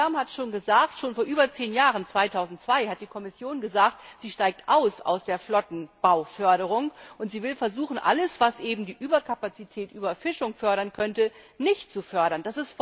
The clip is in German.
Herr Färm hat es schon gesagt Schon vor über zehn Jahren 2002 hat die Kommission gesagt, sie steigt aus der Flottenbauförderung aus und will versuchen, alles, was eben die Überkapazität, die Überfischung fördern könnte, nicht zu fördern.